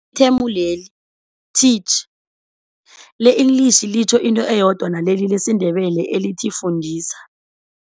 Ithemu leli, teach le-English litjho into eyodwa naleli lesiNdebele elithi fundisa.